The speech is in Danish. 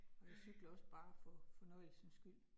Og jeg cykler også bare for fornøjelsens skyld